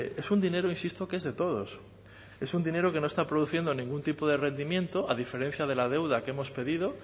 es un dinero insisto que es de todos es un dinero que no está produciendo ningún tipo de rendimiento a diferencia de la deuda que hemos pedido